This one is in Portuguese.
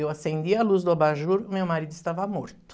Eu acendi a luz do abajur, meu marido estava morto.